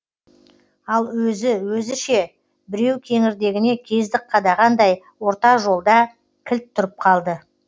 ал өзі өзі ше біреу кеңірдегіне кездік қадағандай орта жолда кілт тұрып қалды